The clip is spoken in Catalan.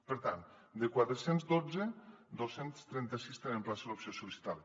per tant de quatre cents i dotze dos cents i trenta sis tenen plaça a l’opció sol·licitada